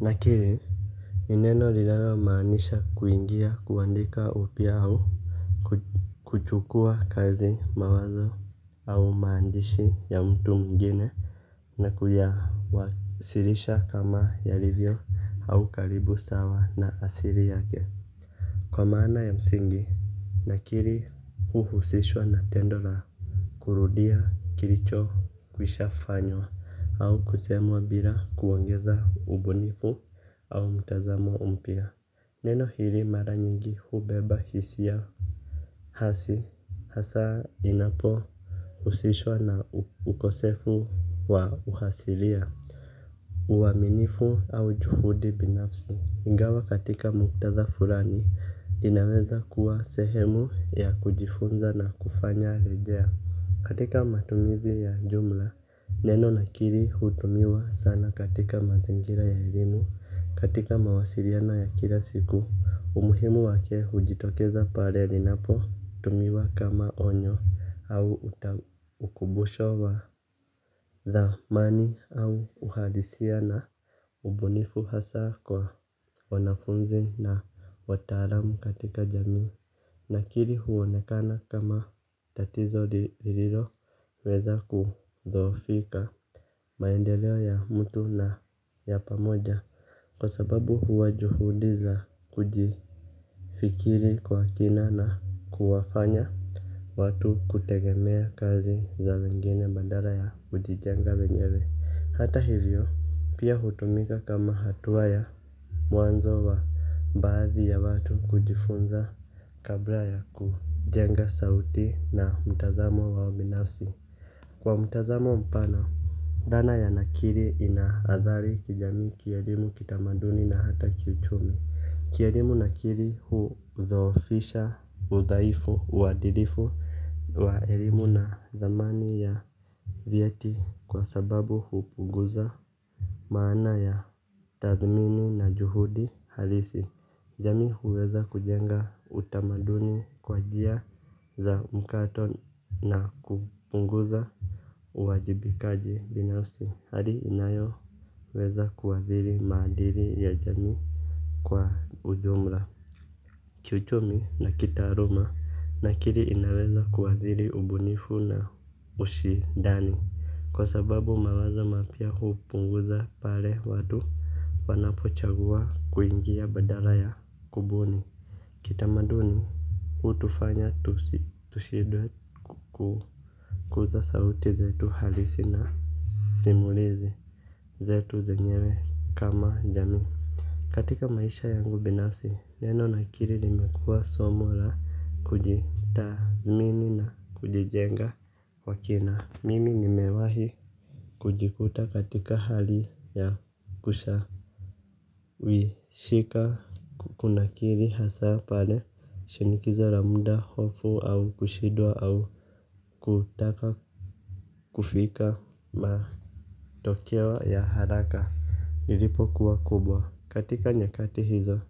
Nakiri ni neno linalo maanisha kuingia kuandika upya au kuchukua kazi mawazo au maandishi ya mtu mwingine. Na kuyawasilisha kama yalivyo au karibu sawa na asiri yake. Kwa maana ya msingi nakiri huhusishwa na tendo la kurudia kiricho kwisha fanywa au kusemwa bila kuongeza ubunifu au mtazamo mpya. Neno hiri mara nyingi hubeba hisia. Hasi hasaa dinapo usishwa na ukosefu wa uhasilia. Uwaminifu au juhudi binafsi. Ingawa katika muktadha furani dinaweza kuwa sehemu ya kujifunza na kufanya rejea. Katika matumizi ya jumla, neno nakiri hutumiwa sana katika mazingira ya elimu, katika mawasiriano ya kila siku, umuhimu wake hujitokeza pare linapo tumiwa kama onyo au ukubusho wa thamani au uhalisia na ubunifu hasaa kwa wanafunzi na wataalamu katika jamii. Nakiri huonekana kama tatizo lililo weza kudhoofika. Maendeleo ya mtu na ya pamoja kwa sababu huwa juhudi za kujifikiri kwa kina na kuwafanya watu kutegemea kazi za wengine bandara ya kujijenga wenyewe hata hivyo pia hutumika kama hatuwa ya mwanzo wa baadhi ya watu kujifunza kabla ya kujenga sauti na mtazamo wa ubinafsi kwa mtazamo mpana thana ya nakiri inaadhari jamii kielimu kitamaduni na hata kiuchumi kielimu nakiri hudhoofisha udhaifu uadilifu. Waerimu na dhamani ya vyeti kwa sababu hupuguza maana ya tathmini na juhudi halisi. Jamii huweza kujenga utamaduni kwa jia za mkato na kupunguza uwajibikaji binafsi. Hali inayo weza kuadhiri maadiri ya jamii kwa ujumra. Chuchomi na kitaaruma nakiri inaweza kuadhiri ubunifu na ushidani. Kwa sababu mawaza mapya kupunguza pale wadu wanapo chagua kuingia badala ya kubuni kitamaduni utufanya tushidwe kuu kuza sauti zetu halisi na simulizi zetu zenyewe kama jamii katika maisha yangu binasi neno na kiri limekua somo ra kujitadhmini na kujijenga kwa kina mimi nimewahi kujikuta katika hali ya kushawishika. Kuna kiri hasaa pale shinikizo la mda hofu au kushidwa au kutaka kufika matokeo ya haraka. Nilipo kuwa kubwa katika nyakati hizo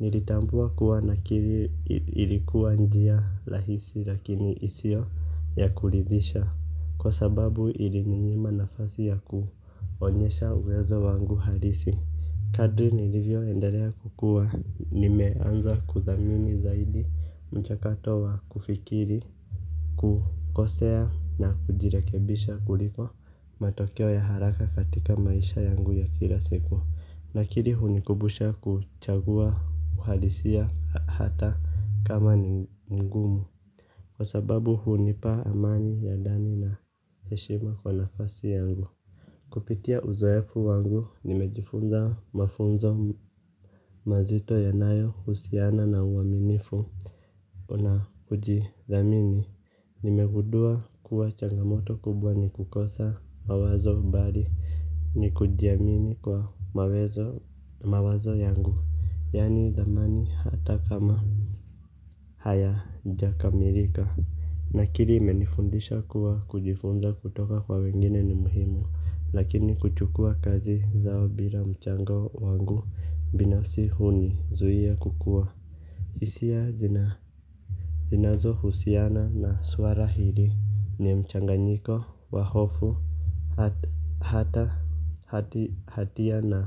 nilitambua kuwa nakiri ilikuwa njia lahisi lakini isio ya kulidhisha kwa sababu ili ninyima nafasi ya kuonyesha uwezo wangu halisi kadri nilivyo endalea kukua nimeanza kuthamini zaidi mchakato wa kufikiri. Kukosea na kujirekebisha kuliko matokeo ya haraka katika maisha yangu ya kila siku. Nakiri hunikubusha kuchagua uhalisia hata kama ni ngumu kwa sababu hunipa amani ya dani na heshima kwa nafasi yangu. Kupitia uzoefu wangu nimejifunza mafunzo mazito yanayo husiana na uwaminifu. Ona ujidhamini. Nimegudua kuwa changamoto kubwa ni kukosa mawazo mbali. Ni kujiamini kwa mawezo mawazo yangu yani dhamani hata kama haya jakamirika. Na kiri imenifundisha kuwa kujifunza kutoka kwa wengine ni muhimu lakini kuchukua kazi zao bila mchanga wangu binafsi huni zuia kukua. Isia zina zinazo husiana na suara hili ni mchanganyiko wa hofu. Hata hatia na.